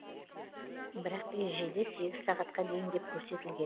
бірақ ережеде сегіз сағатқа дейін деп көрсетілген